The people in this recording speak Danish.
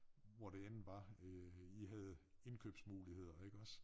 Hvor det end var øh i havde indkøbsmuligheder iggås